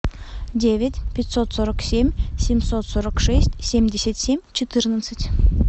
девять пятьсот сорок семь семьсот сорок шесть семьдесят семь четырнадцать